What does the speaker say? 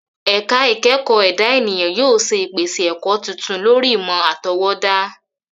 Ẹ̀ka ìkẹ́kọ̀ọ́ ẹ̀dá ènìyàn yóò ṣe ìpèsè ẹ̀kọ́ tuntun lórí ìmọ̀ àtọwọ́dá.